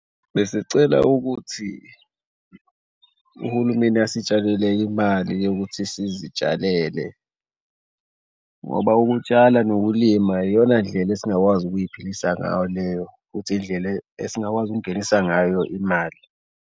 Besicela ukuthi uhulumeni asitshalele enye imali yokuthi sizitshalele ngoba ukutshala nokulima iyona ndlela esingakwazi ukuy'philisa ngayo leyo, futhi indlela esingakwazi ukungenisa ngayo imali.